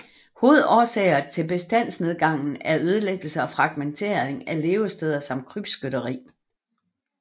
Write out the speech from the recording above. Hovedårsager til bestandsnedgangen er ødelæggelse og fragmentering af levesteder samt krybskytteri